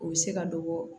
U bɛ se ka dɔ bɔ